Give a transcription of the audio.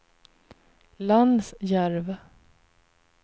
Lansjärv